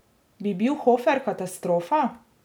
Bi bil Hofer katastrofa?